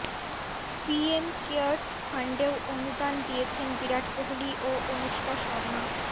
PM cares ফান্ডেও অনুদান দিয়েছেন বিরাট কোহলি ও অনুষ্কা শর্মা